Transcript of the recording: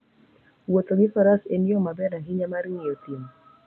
Wuotho gi Faras en yo maber ahinya mar ng'iyo thim.